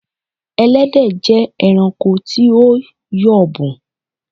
Ẹlẹ́dẹ̀ jé ẹranko tí o yọ̀bùn